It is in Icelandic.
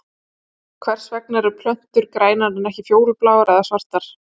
Hvers vegna eru plöntur grænar en ekki fjólubláar eða svartar?